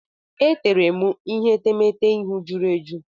E teere m ihe etemeete ihu jụrụ eju.